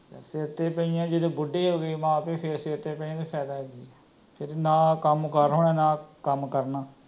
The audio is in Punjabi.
ਸਿਰ ਤੇ ਪਈਆਂ ਜਦੋ ਬੁੱਢੇ ਹੋ ਗਏ ਮਾਂ ਪਿਉ ਫੇਰ ਸਿਰ ਤੇ ਪਯੀਆਂ ਦਾ ਫੈਦਾ ਕਿ, ਫੇਰ ਨਾ ਕਮ ਕਰ ਹੋਣਾ ਨਾ ਕੱਮ ਕਰਨਾ